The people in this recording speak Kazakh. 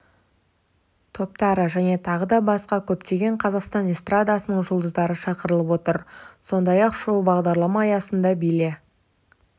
топтары және тағы да басқа көптеген қазақстан эстрадасының жұлдыздары шақырылып отыр сондай-ақ шоу-бағдарлама аясында биле